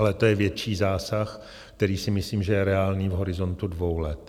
Ale to je větší zásah, který si myslím, že je reálný v horizontu dvou let.